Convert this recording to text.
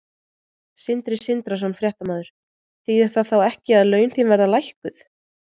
Sindri Sindrason, fréttamaður: Þýðir það þá ekki að laun þín verða lækkuð?